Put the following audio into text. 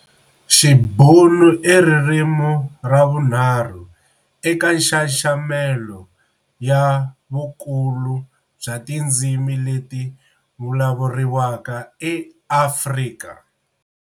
Xibhunu iririmi ravunharhu eka nxaxamelo ya vukulu bya tindzimi leti vulavuriwaka eAfrika